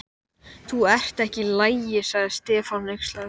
Verður vikið nokkuð að þessum álitaefnum hér á eftir.